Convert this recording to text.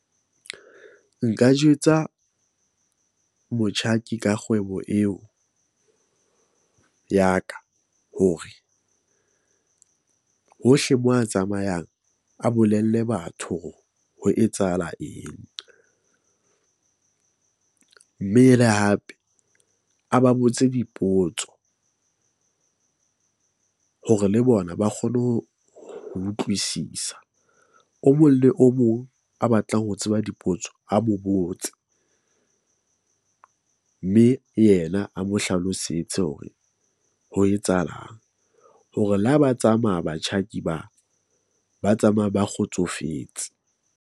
Nka jwetsa motjhaki ka kgwebo eo ya ka hore hohle mo a tsamayang, a bolelle batho hore ho etsahala eng mme le hape a ba botse dipotso hore le bona ba kgone ho ho utlwisisa. O mong le o mong a batlang ho tseba dipotso a mo botse . Mme yena a mo hlalosetse hore ho etsahalang hore le ha ba tsamaya batjhaki ba, ba tsamaya ba kgotsofetse.